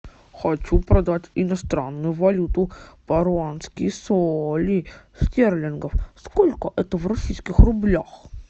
хочу продать иностранную валюту паруанские соли стерлингов сколько это в российских рублях